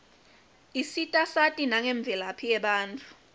isita sati nangemvelaphi yebatfu